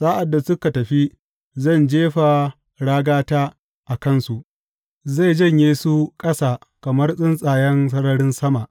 Sa’ad da suka tafi, zan jefa ragata a kansu; zai janye su ƙasa kamar tsuntsayen sararin sama.